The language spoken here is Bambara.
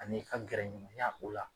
An'i ka gɛrɛ ɲɔgɔnya o la